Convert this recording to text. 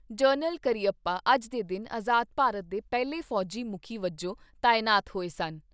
General Cariappa ਅੱਜ ਦੇ ਦਿਨ ਆਜ਼ਾਦ ਭਾਰਤ ਦੇ ਪਹਿਲੇ ਫੌਜੀ ਮੁਖੀ ਵਜੋਂ ਤਾਇਨਾਤ ਹੋਏ ਸਨ।